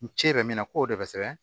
N ci bɛ min na k'o de bɛ sɛbɛn